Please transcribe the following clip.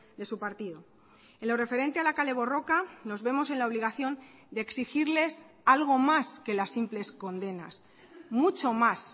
de su partido en lo referente a la kale borroka nos vemos en la obligación de exigirles algo más que las simples condenas mucho más